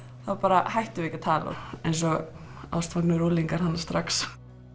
þá bara hættum við ekki að tala eins og ástfangnir unglingar þarna strax